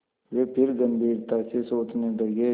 वे फिर गम्भीरता से सोचने लगे